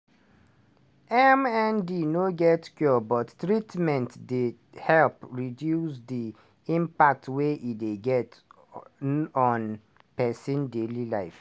mnd no get cure but treatments dey to help reduce di impact e dey get on pesin daily life.